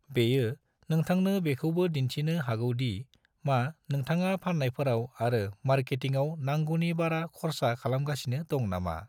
बेयो नोंथांनो बेखौबो दिन्थिनो हागौ दि मा नोंथाङा फान्नायफोराव आरो मार्केटिंआव नांगौनि बारा खरसा खालामगासिनो दंनामा।